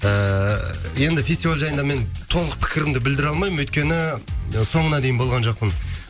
ыыы енді фестиваль жайында мен толық пікірімді білдіре алмаймын өйткені соңына дейін болған жоқпын